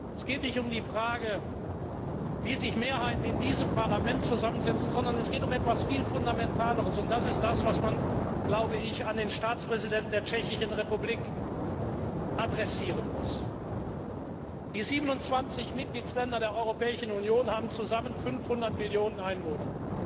Es geht nicht um die Frage, wie sich Mehrheiten in diesem Parlament zusammensetzen, sondern es geht um etwas viel Fundamentaleres, und das ist es, was man dem Staatspräsidenten der Tschechischen Republik sagen muss Die 27 Mitgliedstaaten der Europäischen Union haben zusammen 500 Millionen Einwohner.